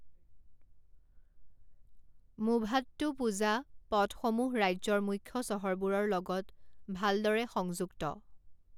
মুভাট্টুপুজা পথসমূহ ৰাজ্যৰ মুখ্য চহৰবোৰৰ লগত ভালদৰে সংযুক্ত।